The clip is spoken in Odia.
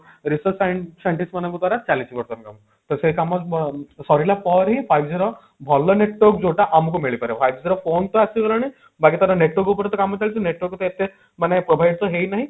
research since scientist ମାନଙ୍କ ଦ୍ଵାରା ଚାଲିଛି ବର୍ତମାନ କାମ ତ ସେ କାମ ସାରିଲା ପରେ ହିଁ five G ର ଭଲ network ଯୋଉଟା ଆମକୁ ମିଳିପାରିବ five G ର phone ତ ଆସିଗଲାଣି ବାକି ତାର network ଉପରେ ତ କାମ ଚାଲିଛି network ତ ଏତେ ମାନେ provide ତ ହେଇନାହିଁ